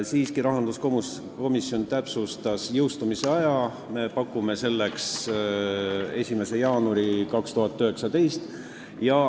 Siiski, rahanduskomisjon täpsustas jõustumise aega, me pakume selleks tähtpäevaks 1. jaanuari 2019.